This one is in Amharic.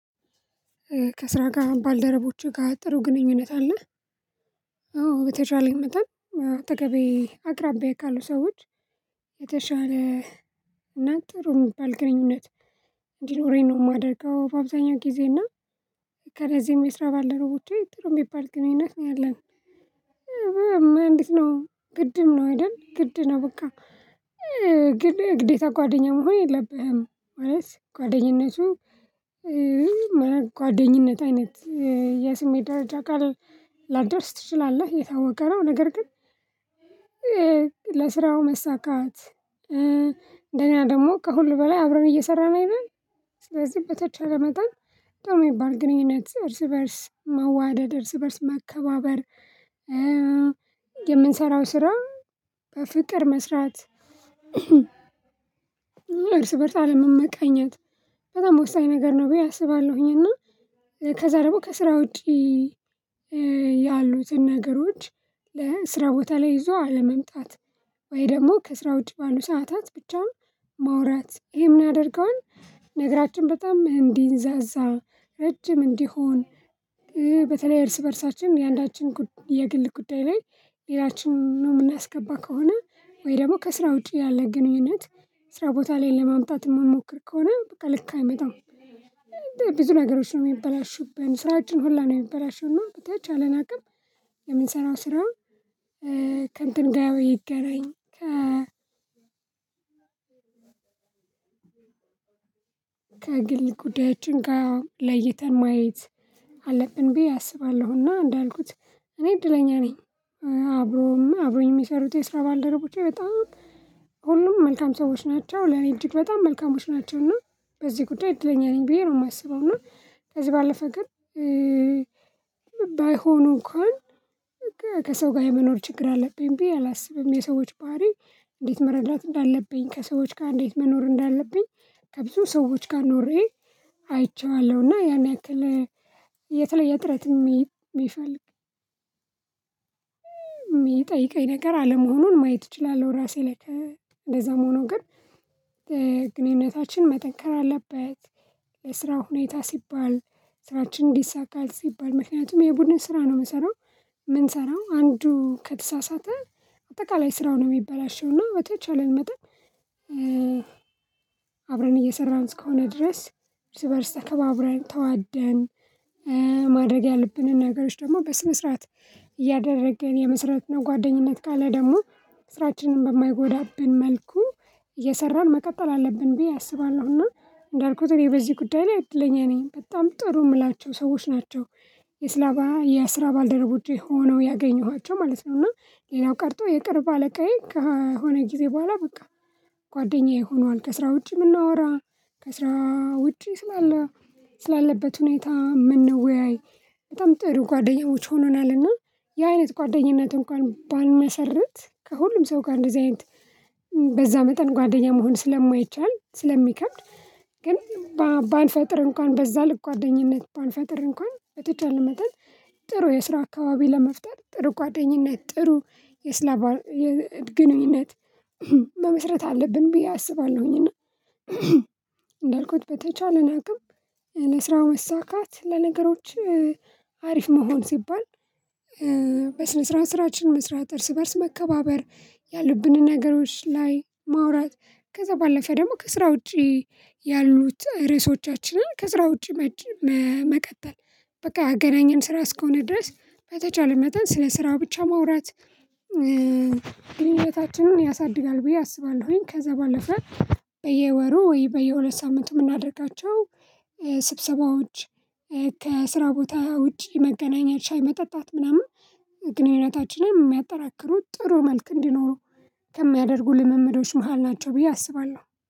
ከስራ ጋር ባልደረቦቹ ጋር ጥሩ ግንኙነት አለህ? አዎ በተቻለኝ መጠን አጠገቤ አቅራቢያ ካሉ ሰዎች የተሻለ እና ጥሩ የሚባል ግንኙነት እንዲኖረኝ ነው የማደርገው በአብዛኛው ጊዜ እና የከረዜም የስራ ባለደረቦቼ ጥሩ የሚባል ግንኙነት ይነሳኛል። እንዴት ነው ግድም ነው አይደል ግድ ነው? በቃ ግድ እግዴታ ጓደኛም መሆን የለብህም። ማለት ጓደኝነቱ ጓደኝነት አይነት የስሜትደረጃ አካል ላደርስ ትችላለህ የታወቀው ነገር ግን ለስራው መሳካት። እንደገና ደግሞ ከሁሉ በላይ አብረን እየሰራን አይደል ስለዚህ በተቻለ መጠን ጥሩ የሚባል ግንኙነት እርስ በእርስ መዋደድ እርስ በእርስ መከባበር። የምንሰራው ስራ በፍቅር መስራት። እርስ በእርስ አለመመቀኘት በጣም ወሳኝ ነገር ነው ብዬ አስባለሁኝ። እና ከዛ ደግሞ ከስራ ውጪ ያሉትን ነገሮች ለስራ ቦታ ላይ ይዞ አለመምጣት ወይ ደግሞ ከስራ ውጪ ባሉ ሰዓታት ብቻውን ማውራት ይሄ ምን ያደርገዋል ነገራችን በጣም እንዲንዛዛ ረጅም እንዲሆን በተለይ እርስ በእርሳችን የአንዳችን የግል ጉዳይ ላይ ሌላችንን ነው የምናስገባ ከሆነ ወይ ደግሞ ከስራ ውጪ ያለ ግንኙነት ስራ ቦታ ላይ ለማምጣት የማንሞክር ከሆነ በቃ ልክ አይመጣም። ብዙ ነገሮች ነው የሚበላሹብን ስራችን ሁላ ነው የሚበላሸውና በተቻለን አቅም የምንሰራው ስራ ከንተን ያው ይገናኝ ከ ከግል ጉዳዮችን ጋር ለይተን ማየት አለብን ብዬ አስባለሁና እንዳልኩት እኔ እድለኛ ነኝ። አብሮም አብሮኝ የሚሰሩት የስራ ባልደረቦቼ በጣም ሁሉም መልካም ሰዎች ናቸው ለኔ እጅግ በጣም መልካሞች ናቸው እና በዚህ ጉዳይ እድለኛ ነኝ ብዬ ነው የማስበው። እና ከዚህ ባለፈ ግን ባይሆኑ እንኳን ከሰው ጋር የመኖር ችግር አለብኝ ብዬ አላስብም። የሰዎች ባህሪ እንዴት መረዳት እንዳለብኝ ከሰዎች ጋር እንዴት መኖር እንዳለብኝ ከብዙ ሰዎች ጋር ኖሬ አይቼዋለሁና ያን ያክል የተለየ ጥረት የሚፈልግ የሚጠይቀኝ ነገር አለመሆኑን ማየት እችላለሁ። ራሴ ላይ ከእንደዛ መሆኑ ግን ግንኙነታችን መጠንከር አለበት። ለስራው ሁኔታ ሲባል ስራችን ይሳካል ሲባል ምክንያቱም የቡድን ስራ ነው የምሰራው። የምንሰራው አንዱ ከተሳሳተ አጠቃላይ ስራው ነው የሚበላሸው። እና በተቻለን መጠን አብረን እየሰራን እስከሆነ ድረስ እርስ በእርስ ተከባብረን ተዋደን ማድረግ ያለብንን ነገሮች ደግሞ በስነ ስርዓት እያደረገን የመስረት ነው ጓደኝነት ካለ ደግሞ ስራችንን በማይጎዳብን መልኩ እየሰራን መቀጠል አለብን ብዬ አስባለሁና እንዳልኩት በዚህ ጉዳይ ላይ እድለኛ ነኝ በጣም ጥሩ የምላቸው ሰዎች ናቸው። የስላባ የስራ ባልደረቦቼ ሆነው ያገኘኋቸው ማለት ነው። እና ሌላው ቀርቶ የቅርብ አለቃዬ ከሆነ ጊዜ በኋላ በቃ ጓደኛዬ ሆኗል። ከስራ ውጪ የምናወራ ከስራ ውጪ ስላለ ስላለበት ሁኔታ የምንወያይ በጣም ጥሩ ጓደኛሞች ሆነናል። እና ያአይነት ጓደኝነትን ባንመሰረት ከሁሉም ሰው ጋር እንደዚህ አይነት በዛ መጠን ጓደኛ መሆን ስለማይቻል ስለሚከብድ። ግን ባንፈጥር እንኳን በዛ ልክ ጓደኝነት ባንፈጥር እንኳን በተቻለ መጠን ጥሩ የስራ አካባቢ ለመፍጠር ጥሩ ጓደኝነት ጥሩ የስላባ የግንኙነት መመስረት አለብን ብዬ አስባለሁኝና። እንዳልኩት በተቻለን አቅም ለስራ መሳካት ለነገሮች አሪፍ መሆን ሲባል በስነ ስርዓት ስራችን መስራት እርስ በእርስ መከባበር ያሉብንን ነገሮች ላይ ማውራት። ከዛ ባለፈ ደግሞ ከስራ ውጪ ያሉት ርዕሶቻችንን ከስራ ውጪ መቀጠል በቃ ያገናኘን ስራ እስከሆነ ድረስ በተቻለ መጠን ስለ ስራው ብቻ ማውራት ግንኙነታችንን ያሳድጋል ብዬ አስባለሁኝ። ከዛ ባለፈ በየወሩ ወይ በየሁለት ሳምንት የምናደርጋቸው ስብሰባዎች ከስራ ቦታ ውጪ መገናኘት ሻይ መጠጣት ምናምን ግንኙነታችንን የሚያጠናክሩት ጥሩ መልክ እንዲኖረው ከሚያደርጉ ልምምዶች መሃል ናቸው ብዬ አስባለሁ